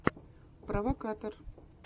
провокатор